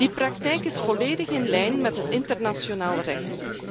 Die praktijk is volledig in lijn met het internationaal recht.